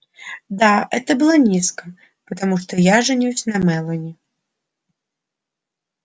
да это было низко потому что я женюсь на мелани